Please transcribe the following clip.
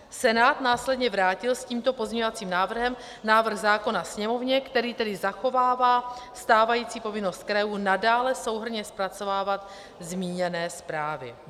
Senát následně vrátil s tímto pozměňovacím návrhem návrh zákona Sněmovně, který tedy zachovává stávající povinnost krajů nadále souhrnně zpracovávat zmíněné zprávy.